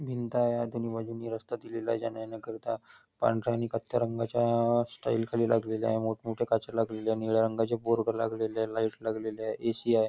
भिंत आहे दोन्ही बाजूनी रास्ता केलेला आहे जाण्या येण्या करीता पांढऱ्या आणि कत्थ्या रंगाच्या टाईल्स लागल्या आहेत मोठं मोठं काचा लागल्या आहेत निळ्या रंगाचे बोर्ड लागलेत लाईट लागलेलं आहे ए.सी. आहे.